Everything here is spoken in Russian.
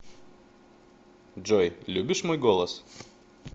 джой любишь мой голос